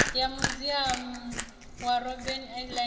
ya muziamu wa robben island